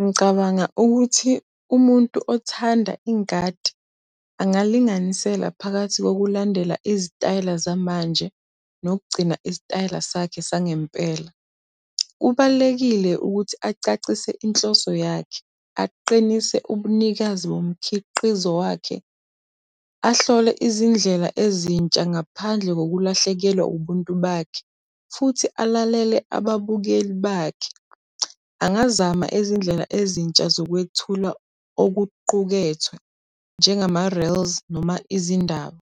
Ngicabanga ukuthi umuntu othanda ingadi angalinganisela phakathi kokulandela izitayela zamanje nokugcina isitayela sakhe sangempela. Kubalulekile ukuthi acacise inhloso yakhe, aqinise ubunikazi bomkhiqizo wakhe, ahlole izindlela ezintsha ngaphandle kokulahlekelwa ubuntu bakhe, futhi alalele ababukeli bakhe. Angazama izindlela ezintsha zokwethula okuqukethwe, njengama reels noma izindaba